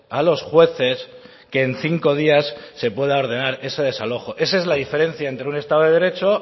a los jueces que en cinco días se pueda ordenar ese desalojo esa es la diferencia entre un estado de derecho